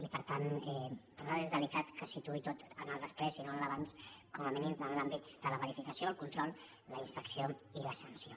i per tant per nosaltres és delicat que es situï tot en el després i no en l’abans com a mínim en l’àmbit de la verificació el control la inspecció i la sanció